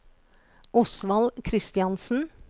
Osvald Kristiansen